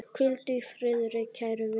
Hvíldu í friði, kæri vinur.